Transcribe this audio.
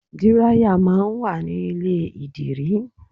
Dírayà máa ń wà ní ilé ìdìrí.